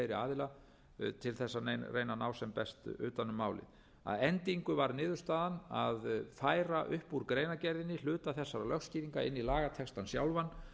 aðila til þess að reyna að ná sem best utan um málið að endingu var niðurstaðan að færa upp úr greinargerðinni hluta þessara lögskýringa inn í lagatextann sjálfan